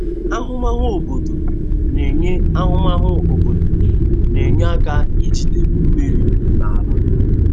Ahụmahụ obodo na-enye Ahụmahụ obodo na-enye aka ijide mmiri n'ala.